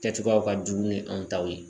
Kɛcogoyaw ka dun n'u ye anw taw ye